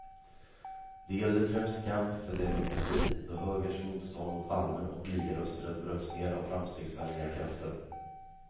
Det gällde främst kampen för demokrati, då högerns motstånd mot allmän och lika rösträtt bröts ner av framstegsvänliga krafter.